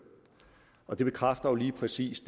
og det bekræfter jo lige præcis